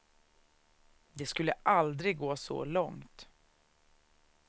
Det skulle aldrig gå så långt.